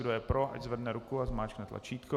Kdo je pro, ať zvedne ruku a zmáčkne tlačítko.